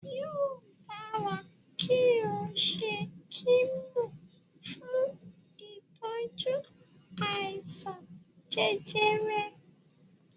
Yóò dára kí o ṣe kímò fún ìtọ́jú àìsàn jẹjẹrẹ.